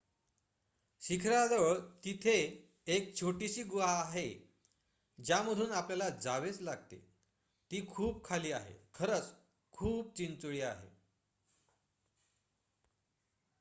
शिखराजवळ तिथे एक छोटीशी गुहा आहे ज्यामधून आपल्याला जावेच लागते ती खूप खाली आहे खरच खूप चिंचोळी आहे